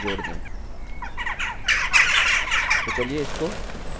तो चलिए इसको num2 से भाग देते हैं